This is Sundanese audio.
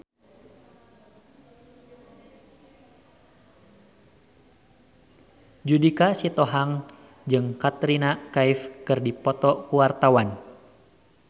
Judika Sitohang jeung Katrina Kaif keur dipoto ku wartawan